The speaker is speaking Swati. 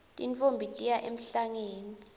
tintfombi tiya emhlangeni